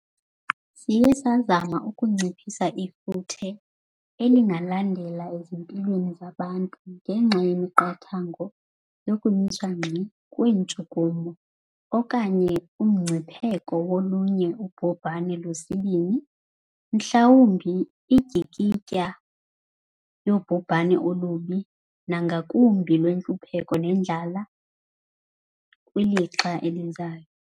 Siye sazama ukunciphisa ifuthe elingalandela ezimpilweni zabantu ngenxa yemiqathango yokumiswa ngxi kweentshukumo, okanye umngcipheko wolunye ubhubhane lwesibini, mhlawumbi indyikitya yobhubhane olubi nangakumbi lwentlupheko nendlala kwilixa elizayo.